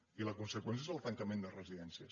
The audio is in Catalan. i la conseqüència és el tancament de residències